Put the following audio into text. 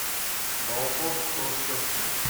балкон в хрущовке